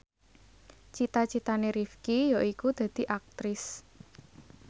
cita citane Rifqi yaiku dadi Aktris